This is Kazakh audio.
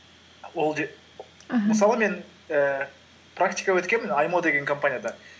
аха мысалы мен ііі практика өткенмін аймо деген компанияда